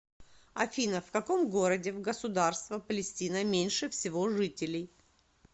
афина в каком городе в государство палестина меньше всего жителей